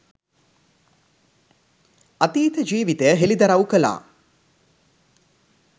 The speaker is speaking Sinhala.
අතීත ජීවිතය හෙළිදරව් කළා.